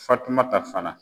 Fatumata fana.